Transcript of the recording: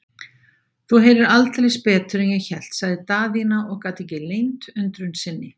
Þú heyrir aldeilis betur en ég hélt, sagði Daðína og gat ekki leynt undrun sinni.